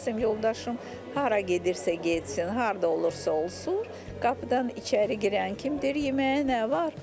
Məsələn, yoldaşım hara gedirsə getsin, harda olursa olsun, qapıdan içəri girən kimi deyir yeməyə nə var?